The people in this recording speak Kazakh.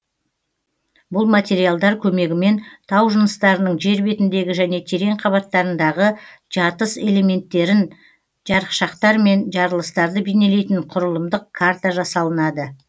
бұл материалдар көмегімен тау жыныстарының жер бетіндегі және терең қабаттарындағы жатыс элементтерін жарықшақтар мен жарылыстарды бейнелейтін құрылымдық карта жасалынады